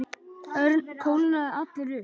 Örn kólnaði allur upp.